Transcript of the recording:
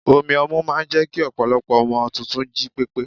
omi ọmu máà ń jẹ́ kí ọpọlọpọ ọmọ tuntun jí pépé